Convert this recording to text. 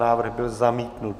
Návrh byl zamítnut.